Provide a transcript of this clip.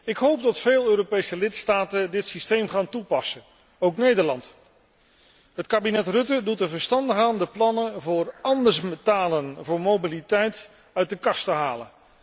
Ik hoop dat veel Europese lidstaten dit systeem gaan toepassen, ook Nederland. Het kabinet Rutten doet er verstandig aan de plannen voor 'anders betalen voor mobiliteit' uit de kast te halen.